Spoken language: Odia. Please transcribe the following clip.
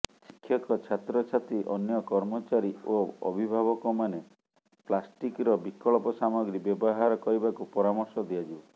ଶିକ୍ଷକ ଛାତ୍ରଛାତ୍ରୀ ଅନ୍ୟ କର୍ମଚାରୀ ଓ ଅଭିଭାବକମାନେ ପ୍ଲାଷ୍ଟିକ୍ର ବିକଳ୍ପ ସାମଗ୍ରୀ ବ୍ୟବହାର କରିବାକୁ ପରାମର୍ଶ ଦିଆଯିବ